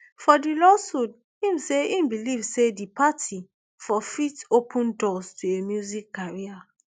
for di lawsuit im say im believe say di party for fit open doors to a music career